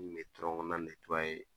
N kun bɛ